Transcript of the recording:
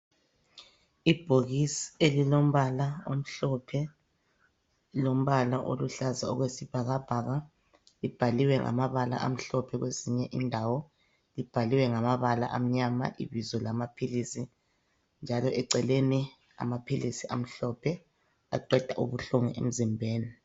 Ibhokisi elilombala omhlophe, lombala oluhlaza okwesibhakabhaka. Libhaliwe ngamabala amhlophe kwezinye indawo. Libhaliwe ngamabala amnyama ibizo lamaphilisi ,njalo eceleni amaphilisi amhlophe aqeda ubuhlungu emzimbeni.